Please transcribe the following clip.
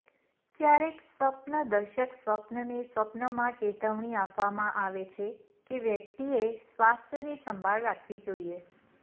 ક્યારેક સ્વપ્નદર્શક સ્વપ્નને સ્વપ્નમાં ચેતવણી આપવામાં આવે છે કે વ્યક્તિએ સ્વાસ્થ્યની સંભાળ રાખવી જોઈએ